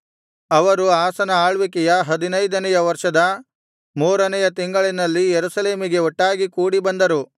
ಅವರು ಆಸನ ಆಳ್ವಿಕೆಯ ಹದಿನೈದನೆಯ ವರ್ಷದ ಮೂರನೆಯ ತಿಂಗಳಿನಲ್ಲಿ ಯೆರೂಸಲೇಮಿಗೆ ಒಟ್ಟಾಗಿ ಕೂಡಿ ಬಂದರು